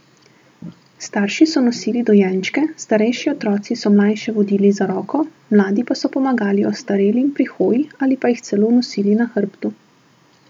Starši so nosili dojenčke, starejši otroci so mlajše vodili za roko, mladi pa so pomagali ostarelim pri hoji ali jih celo nosili na hrbtu.